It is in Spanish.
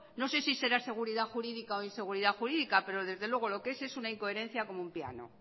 no sé si será seguridad jurídica o inseguridad jurídica pero desde luego lo que es es una incoherencia como una piano